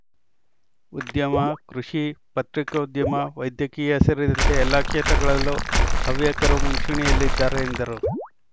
ಉದ್ಯಮ ಕೃಷಿ ಪತ್ರಿಕೋದ್ಯಮ ವೈದ್ಯಕೀಯ ಸೇರಿದಂತೆ ಎಲ್ಲಾ ಕ್ಷೇತ್ರಗಳಲ್ಲೂ ಹವ್ಯಕರು ಮುಂಚೂಣಿಯಲ್ಲಿದ್ದಾರೆ ಎಂದರು